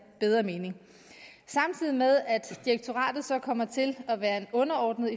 bedre mening samtidig med at direktoratet så kommer til at være underordnet